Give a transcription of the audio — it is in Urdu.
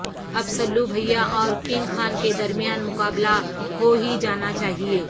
اب سلو بھیا اور کنگ خان کے درمیان مقابلہ ہو ہی جانا چاہیے